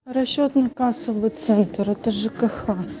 расчетно-кассовый центр это жкх